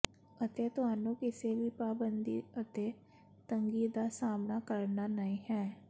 ਅਤੇ ਤੁਹਾਨੂੰ ਕਿਸੇ ਵੀ ਪਾਬੰਦੀ ਅਤੇ ਤੰਗੀ ਦਾ ਸਾਮ੍ਹਣਾ ਕਰਨਾ ਨਹ ਹੈ